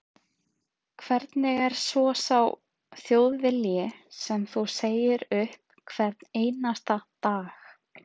Hvernig er svo sá Þjóðvilji sem þú segir upp hvern einasta dag?